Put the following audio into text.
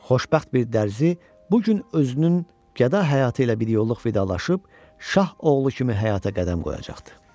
Xoşbəxt bir dərzi bu gün özünün qəda həyatı ilə biryolluq vidalaşıb şah oğlu kimi həyata qədəm qoyacaqdı.